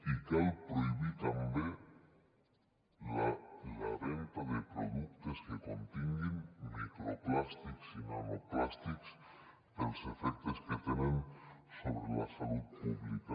i cal prohibir també la venda de productes que continguin microplàstics i nanoplàstics pels efectes que tenen sobre la salut pública